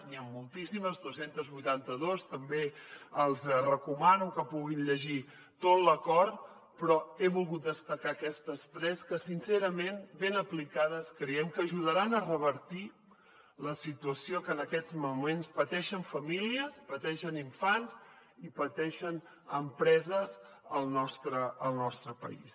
n’hi ha moltíssimes dos cents i vuitanta dos també els recomano que puguin llegir tot l’acord però he volgut destacar aquestes tres que sincerament ben aplicades creiem que ajudaran a revertir la situació que en aquests moments pateixen famílies pateixen infants i pateixen empreses al nostre país